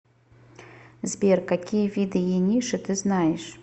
сбер какие виды ениши ты знаешь